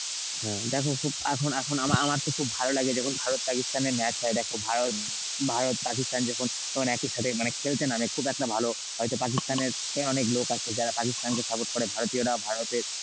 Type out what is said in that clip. হ্যাঁ দেখো খুব এখন এখন আমা~ আমার তো খুব ভালো লাগে যখন ভারত পাকিস্তানের match হয়, দেখো ভা~ ভারত পাকিস্তান যখন যেমন একই সাথে মানে খেলতে নামে খুব একটা ভালো হয়তো পাকিস্তানের তে অনেক লোক আছে যারা পাকিস্তানকে সাপোর্ট করে ভারতীয়রা ভারতে